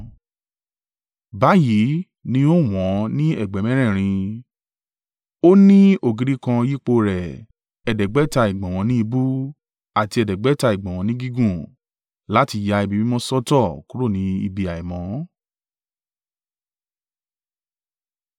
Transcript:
Báyìí ní ó wọ̀n-ọ́n ní ẹ̀gbẹ́ mẹ́rẹ̀ẹ̀rin. Ó ní ògiri kan yípo rẹ̀, ẹ̀ẹ́dẹ́gbẹ̀ta (500) ìgbọ̀nwọ́ ní ìbú, àti ẹ̀ẹ́dẹ́gbẹ̀ta (500) ìgbọ̀nwọ́ ní gígùn, láti ya ibi mímọ́ sọ́tọ̀ kúrò ní ibi àìmọ́.